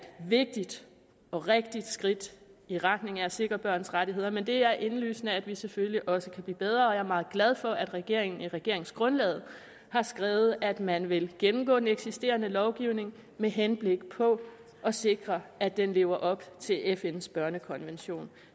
vigtigt og rigtigt skridt i retning af at sikre børns rettigheder men det er indlysende at vi selvfølgelig også kan blive bedre og jeg er meget glad for at regeringen i regeringsgrundlaget har skrevet at man vil gennemgå den eksisterende lovgivning med henblik på at sikre at den lever op til fns børnekonvention